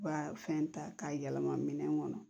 U ka fɛn ta k'a yɛlɛma minɛn kɔnɔ